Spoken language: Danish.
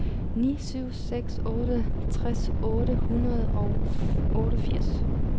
ni syv seks otte tres otte hundrede og otteogfirs